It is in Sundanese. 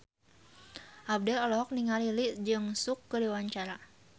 Abdel olohok ningali Lee Jeong Suk keur diwawancara